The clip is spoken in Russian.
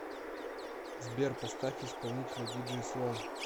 сбер поставь исполнителя диджей слон